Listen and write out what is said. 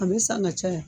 A bɛ san ka caya